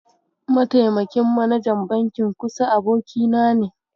Mataimakin manajan bankin Kusa abokina ne.